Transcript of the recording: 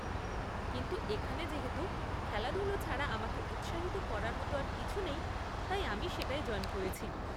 কিন্তু এখানে যেহেতু খেলাধুলো ছাড়া আমাকে উৎসাহিত করার মতো আর কিছু নেই, তাই আমি সেটায় জয়েন করেছি।